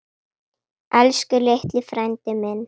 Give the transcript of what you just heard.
Elsku litli frændi minn.